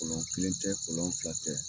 Kolɔn kelen tɛ kolɔn fila tɛ.